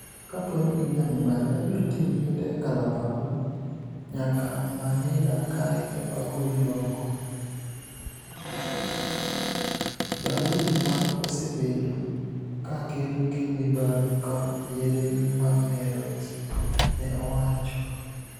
"Kapo nii ini ja mibadhi, abiro tinig'i gi nidek kalapapla niyaka Maniila kae to agoli oko", Daudi, ma osebedo ka kedo gi mibadhi kod yedhe mamerji, ni e owacho.